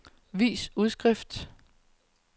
vis udskrift